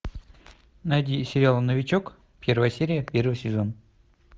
найди сериал новичок первая серия первый сезон